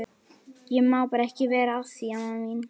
Enginn Sveinn að leika og gantast við lengur.